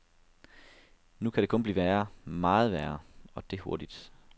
Nu kan det kun blive værre, meget værre, og det hurtigt.